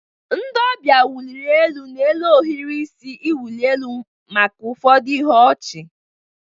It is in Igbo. Ndị ọbịa wụliri elu n'elu ohiri isi iwụli elu maka ụfọdụ ihe ọchị.